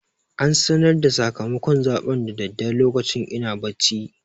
An sanar da sakamakon zaɓen da daddare lokacin ina bacci.